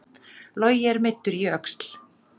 Logi er meiddur í öxl